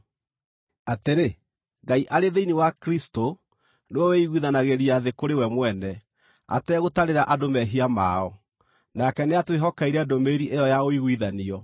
atĩrĩ, Ngai arĩ thĩinĩ wa Kristũ nĩwe wĩĩiguithanagĩria thĩ kũrĩ we mwene, ategũtarĩra andũ mehia mao. Nake nĩatwĩhokeire ndũmĩrĩri ĩyo ya ũiguithanio.